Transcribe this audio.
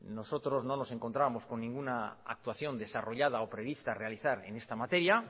nosotros no nos encontrábamos con ninguna actuación desarrollada o prevista a realizar en esta materia